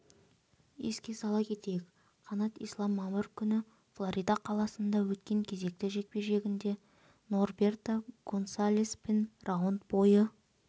еске сала кетейік қанат ислам мамыр күні флорида қаласында өткен кезекті жекпе-жегінде норберто гонсалеспен раунд бойы